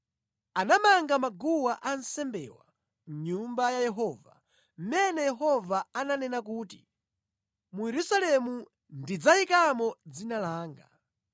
Anamanga maguwa ansembewa mʼNyumba ya Yehova, mʼmene Yehova ananena kuti, “Mu Yerusalemu ndidzayikamo Dzina langa.”